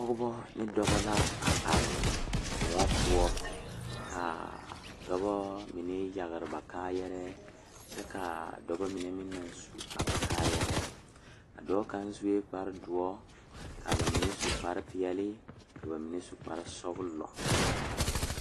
Pɔgeba ne dɔba la a are Koɔ poɔ k,a dɔba mine yagre ba kaayarɛɛ kyɛ k,a dɔba mine meŋ naŋ su ba kaayarɛɛ a dɔɔ kaŋ sue kparedoɔ ka ba mine su kparepeɛle ka ba mine su kparesɔglɔ.